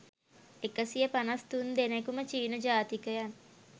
එකසිය පනස් තුන් දෙනෙකුම චීන ජාතිකයන්.